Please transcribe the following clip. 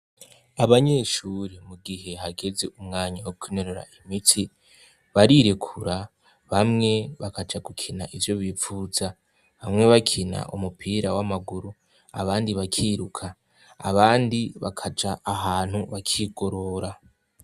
Abanyeshure mu gihe hageze umwanya wo kwinonora imitsi barirekura, bamwe bakaja gukina ivyo bipfuza, bamwe bakina umupira w'amaguru abandi bakiruka, abandi bakaja ahantu bakigorora.